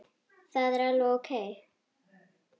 Það er alveg ókei.